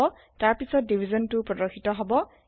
তাৰপিছত divisionটো প্ৰদৰ্শিত হব